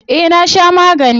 Eh na sha magani.